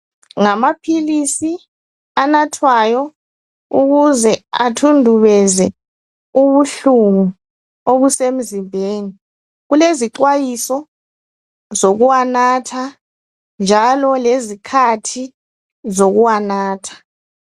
Ngamaphilisi anathwayo ukuze athundubeze ubuhlungu obusemzimbeni. Kulezixwayiso zokuwanatha njalo lezikhathi zokuwanatha